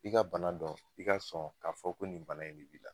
I ka bana dɔn i ka sɔn k'a fɔ ko nin bana in de b'i la.